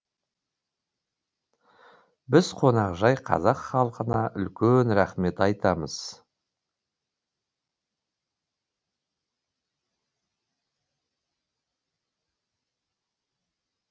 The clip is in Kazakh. біз қонақжай қазақ халқына үлкен рахмет айтамыз